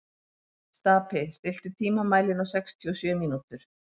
Stapi, stilltu tímamælinn á sextíu og sjö mínútur.